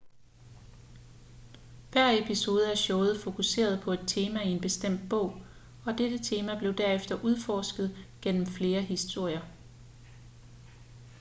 hver episode af showet fokuserede på et tema i en bestemt bog og dette tema blev derefter udforsket gennem flere historier